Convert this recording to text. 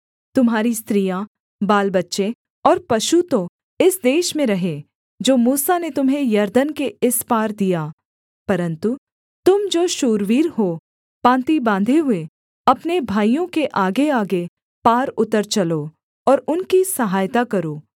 तुम्हारी स्त्रियाँ बालबच्चे और पशु तो इस देश में रहें जो मूसा ने तुम्हें यरदन के इस पार दिया परन्तु तुम जो शूरवीर हो पाँति बाँधे हुए अपने भाइयों के आगेआगे पार उतर चलो और उनकी सहायता करो